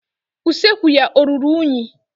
Usekwu ya ọ ruru unyi?